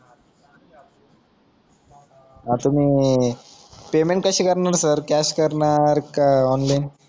आता तुम्ही पेमेंट कशी करणार सर कॅश करनार का ऑनलाईन